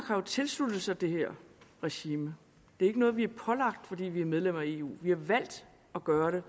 har tilsluttet sig det her regime det er ikke noget vi er pålagt fordi vi er medlem af eu vi har valgt at gøre det